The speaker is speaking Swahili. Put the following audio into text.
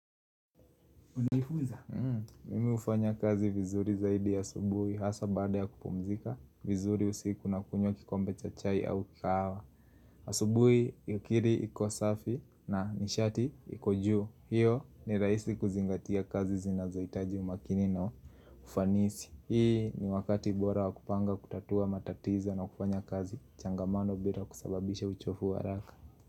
Unaifuza? Mimi ufanya kazi vizuri zaidi ya asubuhi hasa baada ya kupumzika vizuri usiku na kunywa kikombe cha chai au kahawa asubuhi yukiri iko safi na nishati iko juu hiyo ni rahisi kuzingatia kazi zinazohitaji umakini na ufanisi hii ni wakati bora wa kupanga kutatua matatizo na wakufanya kazi changamano bila kusababisha uchovu wa haraka.